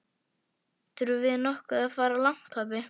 Þurfum við nokkuð að fara langt, pabbi?